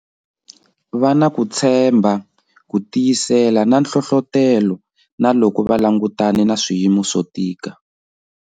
Va na ku tshembha, ku tiyisela na nhlohlotelo, na loko va langutane na swiyimo swo tika,